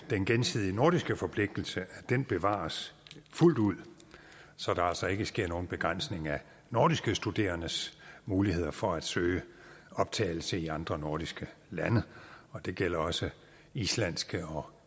den gensidige nordiske forpligtelse bevares fuldt ud så der altså ikke sker nogen begrænsning af nordiske studerendes muligheder for at søge optagelse i andre nordiske lande og det gælder også islandske og